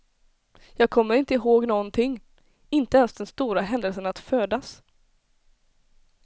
Jag kommer inte ihåg någonting, inte ens den stora händelsen att födas.